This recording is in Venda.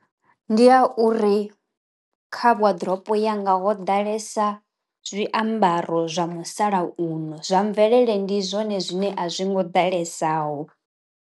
Ndi ya uri kha waḓiropo yanga ho ḓalesa zwiambaro zwa musalauno zwa mvelele ndi zwone zwine a zwi ngo ḓalesaho.